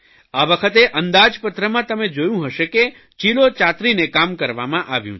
આ વખતે અંદાજપત્રમાં તમે જોયું હશે કે ચીલો ચાતરીને કામ કરવામાં આવ્યું છે